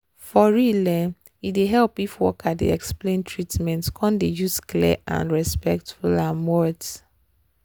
for real um e dey help if worker dey explain treatment come dey use clear and respectful words